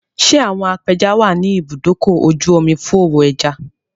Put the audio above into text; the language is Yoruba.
Ṣé àwọn apẹja wà ní ibùdókò-oju-omi fú òwò ẹja?